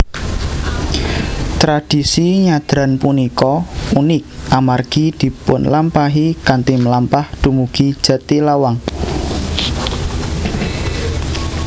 Tradisi nyadran punika unik amargi dipunlampahi kanthi mlampah dumugi Jatilawang